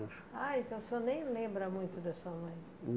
Ah, então o senhor nem lembra muito da sua mãe.